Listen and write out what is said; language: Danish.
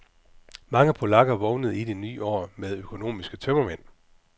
Mange polakker vågnede i det nye år med økonomiske tømmermænd.